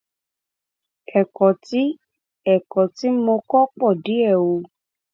ẹkọ tí ẹkọ tí mo kọ pọ díẹ o